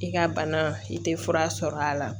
I ka bana i tɛ fura sɔrɔ a la